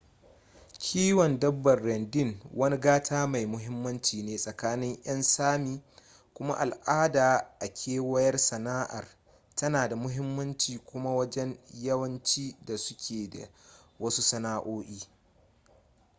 kiwon dabbar reindeer wani gata mai muhimmanci ne tsakanin 'yan sámi kuma al'adar a kewayar sana'ar tana da muhimmanci kuma wajen yawanci da suke da wasu sana'o'i